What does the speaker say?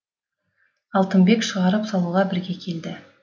алтынбек шығарып салуға бірге келді